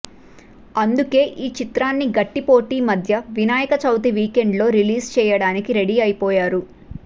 అందుకుే ఈ చిత్రాన్ని గట్టి పోటీ మధ్య వినాయక చవితి వీకెండ్లో రిలీజ్ చేయడానికి రెడీ అయిపోయారు